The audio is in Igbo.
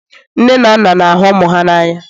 nne na nna na-ahụ ụmụ ha n'anya